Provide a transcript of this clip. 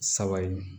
Saba in